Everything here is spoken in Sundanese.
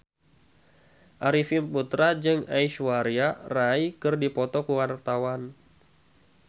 Arifin Putra jeung Aishwarya Rai keur dipoto ku wartawan